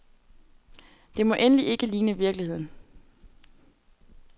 Det må endelig ikke ligne virkeligheden.